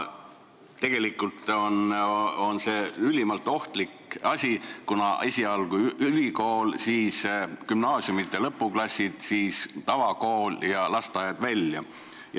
See on ülimalt ohtlik asi, kuna esialgu toimub see ülikoolis, siis gümnaasiumide lõpuklassides, siis tavakoolis ja lõpuks lasteaias.